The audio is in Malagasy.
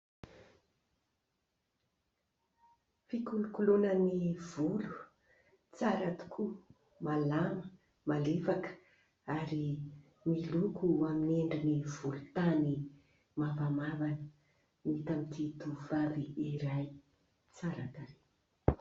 fikolokoloana ny volo tsara tokoa malama malefaka ary miloko h amin'ny endri ny volo tany mafamavana ny tamiti tovavy eray tsarakare